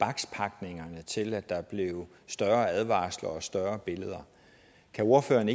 når til at der blev større advarsler og større billeder kan ordføreren